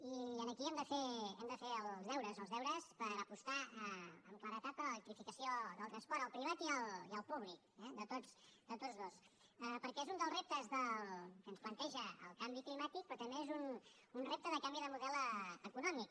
i aquí hem de fer els deures els deures per apostar amb claredat per l’electrificació del transport el privat i el públic eh de tots dos perquè és un dels reptes que ens planteja el canvi climàtic però també és un repte de canvi de model econòmic